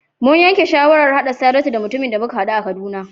Mun yanke shawarar haɗa Saratu da mutumin da muka haɗu a Kaduna.